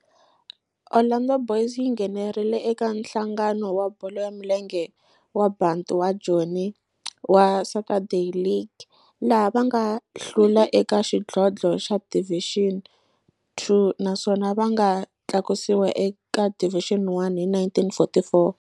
Orlando Boys yi nghenelerile eka Nhlangano wa Bolo ya Milenge wa Bantu wa Joni wa Saturday League, laha va nga hlula eka xidlodlo xa Division Two naswona va nga tlakusiwa eka Division One hi 1944.